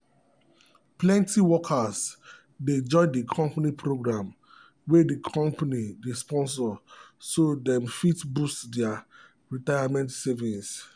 plenty workers dey join the company program wey the company dey sponsor so dem fit boost their retirement savings.